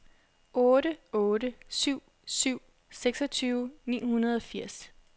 otte otte syv syv seksogtyve ni hundrede og firs